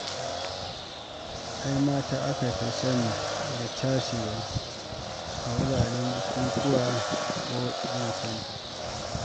Ai mata aka sani da cashewa a wuraren bukukuwa ko ibensenta.